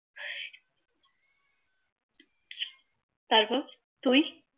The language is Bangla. তারপর তুই